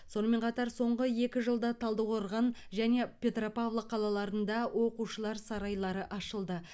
сонымен қатар соңғы екі жылда талдықорған және петропавл қалаларында оқушылар сарайлары ашылды